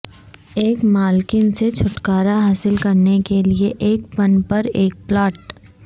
ایک مالکن سے چھٹکارا حاصل کرنے کے لئے ایک پن پر ایک پلاٹ